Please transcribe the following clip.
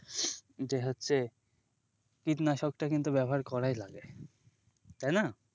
এটাই হচ্ছে কীটনাশকটা কিন্তু ব্যবহার করাই লাগে তাই না?